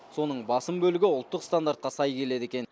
соның басым бөлігі ұлттық стандартқа сай келеді екен